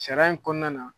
Sariya in kɔnɔna na